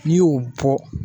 N'i y'o bɔ